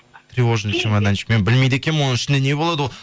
тревожный чемоданчик мен білмейді екенмін оның ішінде не болады ол